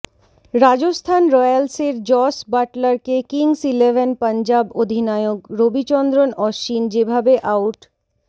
রাজস্থান রয়্যালসের জস বাটলারকে Kings Eleven Punjab অধিনায়ক রবিচন্দ্রন অশ্বিন যেভাবে আউট